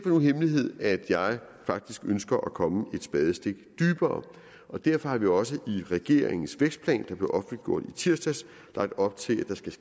nogen hemmelighed at jeg faktisk ønsker at komme et spadestik dybere derfor har vi også i regeringens vækstplan som blev offentliggjort i tirsdags lagt op til at der skal